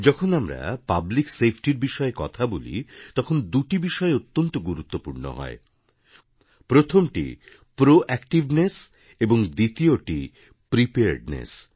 যখন আমরা পাবলিকসেফটি র বিষয়ে কথা বলি তখন দুটি বিষয় অত্যন্ত গুরুত্বপূর্ণ হয় প্রথমটি প্রোঅ্যাক্টিভনেস এবং দ্বিতীয়টি প্রিপেয়ার্ডনেস